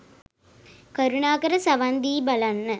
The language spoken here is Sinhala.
කරුණාකර සවන් දී බලන්න